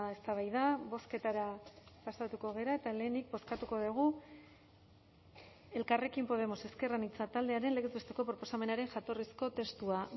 eztabaida bozketara pasatuko gara eta lehenik bozkatuko dugu elkarrekin podemos ezker anitza taldearen legez besteko proposamenaren jatorrizko testua